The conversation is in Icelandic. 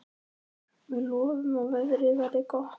Við lofum að veðrið verði gott.